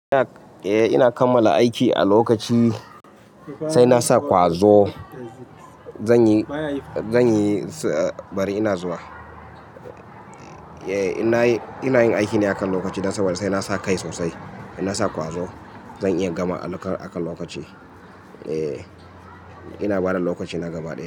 Eh ina kammala aiki a lokaci, sai na sa ƙwazo. Zan yi, zan yi, bari ina zuwa. Eh ina yin aiki ne akan lokaci. Na saba da sai na sa kai sosai. Na sa ƙwazo. Zan iya gama a kan lokaci. Eh ina bada lokaci na gaba daya.